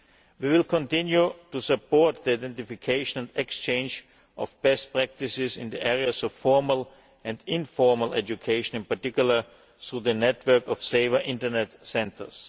We will continue to support the identification and exchange of best practices in the areas of formal and informal education, in particular through the network of Safer Internet Centres.